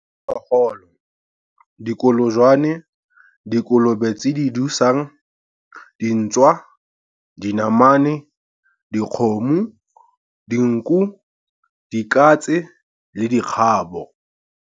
Diphologolo - Dikolojwane, dikolobe tse di dusang, dintšwa, dinamane, dikgomo, dinku, dikatse le dikgabo.